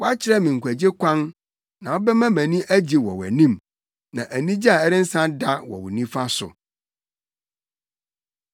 Woakyerɛ me nkwagye kwan, na wobɛma mʼani agye wɔ wʼanim, na anigye a ɛrensa da wɔ wo nifa so.